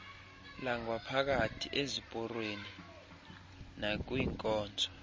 langaphakathi eziporweni nakwinkonzo